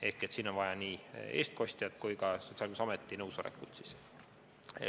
Ehk siin on vaja nii eestkostja kui ka Sotsiaalkindlustusameti nõusolekut.